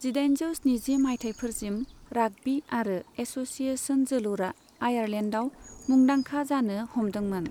जिदाइनजौ स्निजि मायथाइफोरसिम, राग्बि आरो एस'सिएशन जोलुरा आयारलेन्डाव मुंदांखा जानो हमदोंमोन।